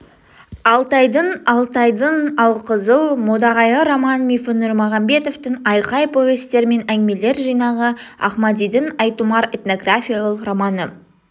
алтайдың алтайдың алқызыл модағайы роман-мифі нұрмағамбетовтің айқай повестер мен әңгімелер жинағы ахмадидің айтұмар этнографиялық романы